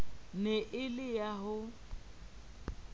ne e le ya ho